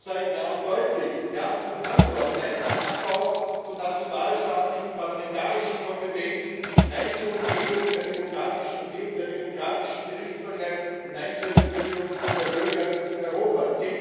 Ich sage klar und deutlich Ja zum Handel, aber Nein zum Abbau von nationalstaatlichen parlamentarischen Kompetenzen, Nein zur Umgehung der demokratischen Gerichtsbarkeit und Nein zur Entmündigung der Bürger in Europa.